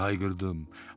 deyə hayqırdım.